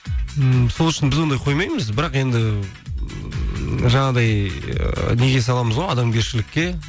м сол үшін біз ондай қоймаймыз бірақ енді ііі жаңағыдай неге саламыз ғой адамгершілікке